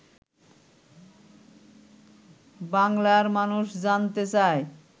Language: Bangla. বাংলার মানুষ জানতে চায়